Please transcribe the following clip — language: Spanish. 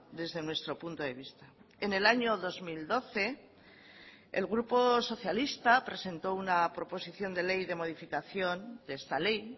desde nuestro punto de vista en el año dos mil doce el grupo socialista presentó una proposición de ley de modificación de esta ley